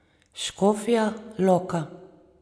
Škofja Loka.